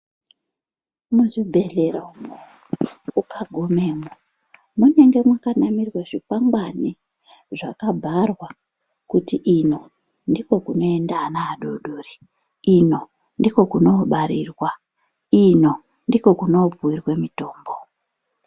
Muzvibhedhlera umwo ukagumemwo munenge mwakanamirwe zvikwangwani zvakabharwa kuti ,ino ndikwo kunoenda ana adodori, ino ndiko kunoobarirwa, ino ndiko kunopuwirwe mitombo.